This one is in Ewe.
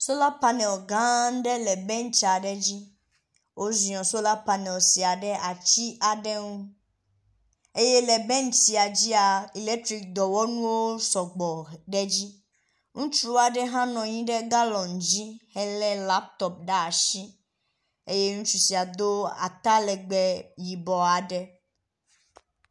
Soal panel gã aɖe le bentsi aɖe dzi. Woziɔ sola panel sia ɖe atsi aɖe ŋu eye le bentsia dzia elektriki dɔwɔnuwo sɔgbɔ ɖe edzi. Ŋutsu aɖe hã nɔ anyi ɖe galɔn dzi hee laptɔp ɖe asi eye ŋutsu sia do atalegbe aɖe..